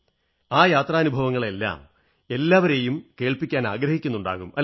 ആ യത്രാനുഭവങ്ങളെല്ലാം നിങ്ങൾ അവരുമായി പങ്കിടാറുണ്ടോ